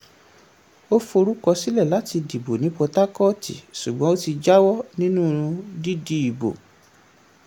ó forúkọ sílẹ̀ láti dìbò ní port harcourt ṣùgbọ́n ó ti jáwọ́ nínú dídìbò.